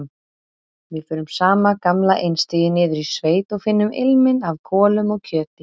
Við förum sama gamla einstigið niður í sveit og finnum ilminn af kolum og kjöti.